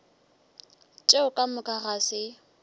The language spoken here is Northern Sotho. tšeo ka moka ga se